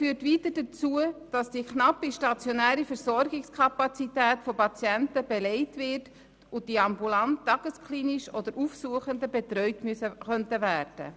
Das führt weiter dazu, dass die knappe stationäre Versorgungskapazität von Patienten belegt wird, die ambulant beziehungsweise tagesklinisch betreut werden könnten.